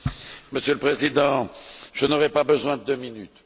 Monsieur le Président, je n'aurai pas besoin de deux minutes.